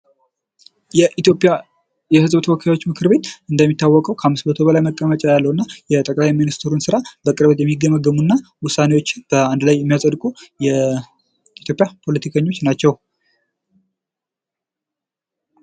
የኢትዮጵያ የህዝብ ምክር ቤት ተወካዮች እንደሚታወቀው ከመቶ በላይ መቀመጫ ያለው እና የጠቅላይ ሚኒስትሩ ስራ በቅርበት የሚገመግሙ እና ውሳኔዎችን በአንድ ላይ የሚያጸድቁ የኢትዮጵያ ፖለቲከኞች ናቸው።